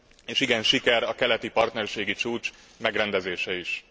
És igen, siker a keleti partnerségi csúcs megrendezése is.